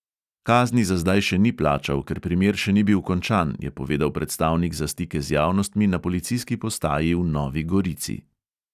Kazni za zdaj še ni plačal, ker primer še ni bil končan, je povedal predstavnik za stike z javnostmi na policijski postaji v novi gorici.